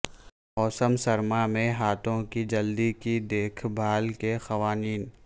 موسم سرما میں ہاتھوں کی جلد کی دیکھ بھال کے قوانین